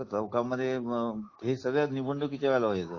हा हा आमच्या चौक मध्ये हे सगळं निवडणुकी च्या वेळेला व्हायच